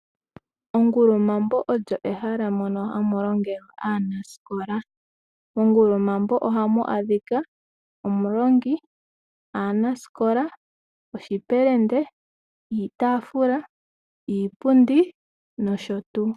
Ongulumambo olyo ehala moka hamu longelwa aanaskola. Mongulumambo ohamu adhika omulongi, aanaskola, oshipelende, iitafula, iipundi nosho tuu.